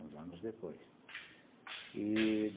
Uns anos depois e